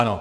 Ano.